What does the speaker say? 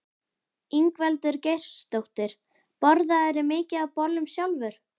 Ingveldur Geirsdóttir: Borðarðu mikið af bollum sjálfur?